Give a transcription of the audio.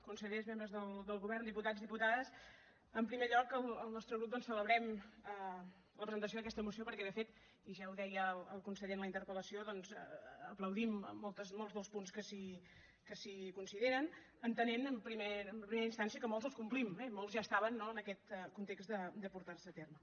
consellers membres del govern diputats diputades en primer lloc el nostre grup doncs celebrem la presentació d’aquesta moció perquè de fet i ja ho deia el conseller en la interpellació doncs aplaudim molts dels punts que s’hi consideren entenent en primera instància que molts els complim eh molts ja estaven en aquest context de portar se a terme